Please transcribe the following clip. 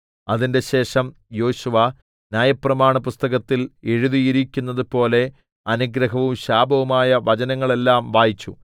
അതിന്‍റെശേഷം യോശുവ ന്യായപ്രമാണപുസ്തകത്തിൽ എഴുതിയരിക്കുന്നതുപോലെ അനുഗ്രഹവും ശാപവുമായ വചനങ്ങളെല്ലാം വായിച്ചു